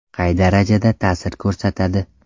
Qay darajada ta’sir ko‘rsatadi?